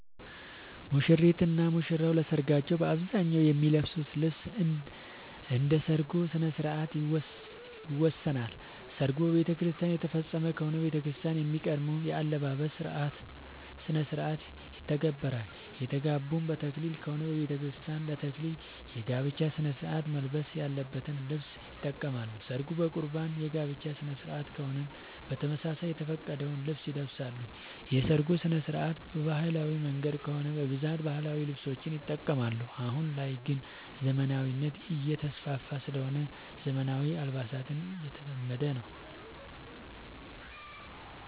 ሙሽሪት እና ሙሽራ ለሰርካቸው በአብዛኛው የሚለብሱት ልብስ እንደ ሠርጉ ስነስርዓት ይወሰናል። ሰርጉ በቤተክርስቲያን የተፈፀመ ከሆነ ቤተክርስቲያን የሚፈቅደውን የአለባበስ ስነስርዓት ይተገብራሉ። የተጋቡት በተክሊል ከሆነ በቤተክርስቲያን ለ ተክሊል የጋብቻ ስነስርዓት መልበስ ያለበትን ልብስ ይጠቀማሉ። ሰርጉ በቁርባን የጋብቻ ስነስርዓት ከሆነም በተመሳሳይ የተፈቀደውን ልብስ ይለብሳሉ። የሰርጉ ስነስርዓት በባህላዊ መንገድ ከሆነ በብዛት ባህላዊ ልብሶችን ይጠቀማሉ። አሁን ላይ ግን ዘመናዊነት እየተስፋፋ ስለሆነ ዘመናዊ አልባሳት እየተለመደ ነው።